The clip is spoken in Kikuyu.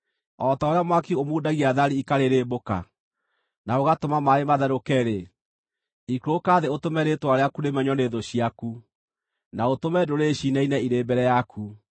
O ta ũrĩa mwaki ũmundagia thari ikarĩrĩmbũka, na ũgatũma maaĩ matherũke-rĩ, ikũrũka thĩ ũtũme rĩĩtwa rĩaku rĩmenywo nĩ thũ ciaku, na ũtũme ndũrĩrĩ ciinaine irĩ mbere yaku!